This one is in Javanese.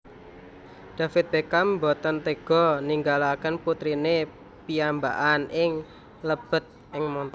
David Beckham mboten tega ninggalaken putrine piyambakan ing lebet e montor